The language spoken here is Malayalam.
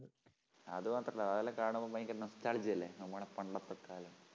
അതു മാത്രമല്ല അതെല്ലാം കാണുമ്പോൾ ഭയങ്കര nostalgia അല്ലെ? നമ്മടെ പണ്ടത്തെ കാലം